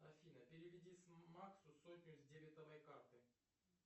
афина переведи максу сотню с дебетовой карты